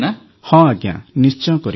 ହଁ ଆଜ୍ଞା ନିଶ୍ଚୟ କରିବି